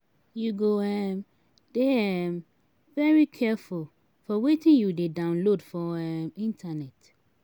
you go um dey um very careful for wetin you dey download for um internet.